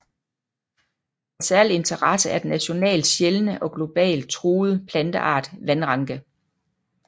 Af særlig interesse er den nationalt sjældne og globalt truede planteart vandranke